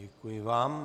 Děkuji vám.